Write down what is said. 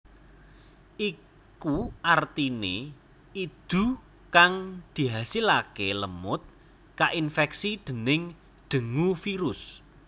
Iku artine idu kang dihasilake lemut kainfeksi déning dengue virus